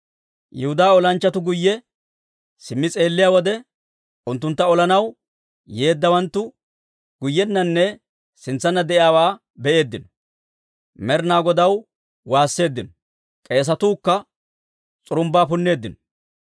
Yihudaa olanchchatuu guyye simmi s'eelliyaa wode, unttuntta olanaw yeeddawanttu guyyenanne sintsanna de'iyaawaa be'eeddino. Med'inaa Godaw waasseeddino; k'eesatuu kka s'urumbbaa punneeddino.